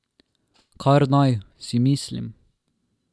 Kar naj, si mislim.